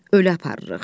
Ölü aparırıq.